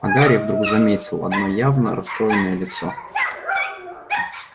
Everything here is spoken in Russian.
а гарри вдруг заметил одно явно расстроенное лицо